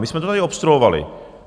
My jsme to tady obstruovali.